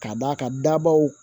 K'a d'a ka dabaw